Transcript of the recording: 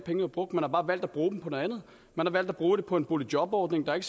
var brugt man har bare valgt at bruge dem på noget andet man har valgt at bruge dem på en boligjobordning der ikke